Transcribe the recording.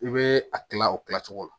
I bɛ a kilan o kilan cogo la